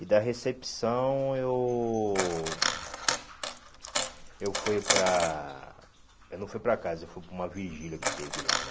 E da recepção eu... Eu fui para... Eu não fui para casa, eu fui para uma vigília que teve lá, né?